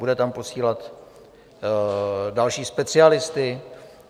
Bude tam posílat další specialisty?